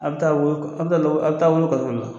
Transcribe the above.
A' bi taa a' bi taa a' bi taa wolo kaso la.